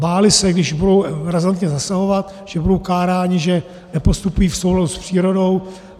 Báli se, když budou razantně zasahovat, že budou káráni, že nepostupují v souladu s přírodou.